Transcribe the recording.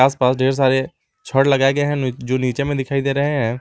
आस-पास ढेर सारे छड़ लगाएं गए हैं जो नीचे में दिखाई दे रहे हैं।